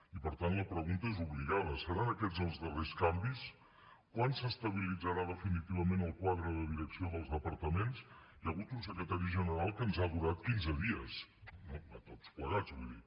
i per tant la pregunta és obligada seran aquests els darrers canvis quan s’estabilitzarà definitivament el quadre de direcció dels departaments hi ha hagut un secretari general que ens ha durat quinze dies no a tots plegats vull dir